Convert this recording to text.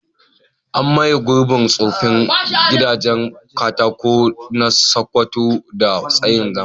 An maye gurbin tsoffin gidajen katako na Sakkwato da tsarin zamani.